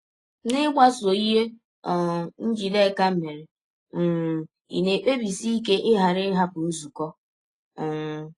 N’ịgbasọ ihe um Njideka mere um, ị̀ na - ekpebisi ike ịghara ịhapụ nzụkọ? um